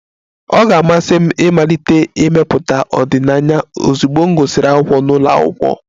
Ọ ga-amasị m ịmalite ịmepụta ọdịnaya ozugbo m gụsịrị akwụkwọ n'ụlọ akwụkwọ